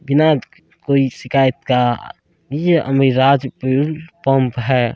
बिना कोई शिकायत का । ये अभिराज फ्यूल पंप है।